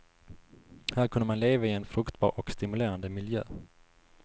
Här kunde man leva i en fruktbar och stimulerande miljö.